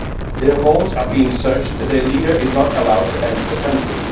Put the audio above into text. Their homes are being searched and their leader is not allowed to enter the country.